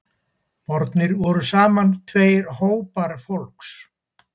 Bornir voru saman tveir hópar fólks